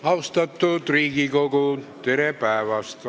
Austatud Riigikogu, tere päevast!